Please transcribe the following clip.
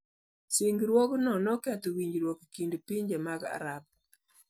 Singruogno ne oketho winjruok e kind pinje mag Arab.